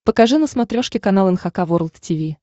покажи на смотрешке канал эн эйч кей волд ти ви